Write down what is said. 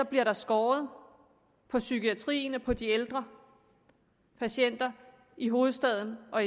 bliver skåret på psykiatrien og på de ældre patienter i hovedstaden og